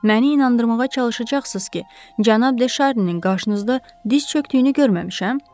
Məni inandırmağa çalışacaqsınız ki, Cənab De Şarninin qarşınızda diz çökdüyünü görməmişəm?